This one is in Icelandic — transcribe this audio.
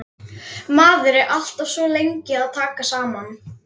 Maður er alltaf svo lengi að taka saman.